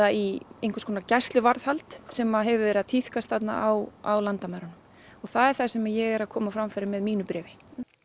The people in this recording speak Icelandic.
í einhvers konar gæsluvarðhald sem hefur verið að tíðkast þarna á landamærunum það er það sem ég er að koma á framfæri með mínu bréfi